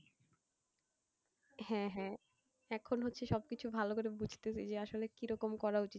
হ্যাঁ হ্যাঁ এখন হচ্ছে সব কিছু ভালো করে বুঝতেছি যে আসলে কিরকম করা উচিত,